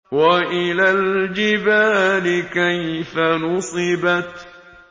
وَإِلَى الْجِبَالِ كَيْفَ نُصِبَتْ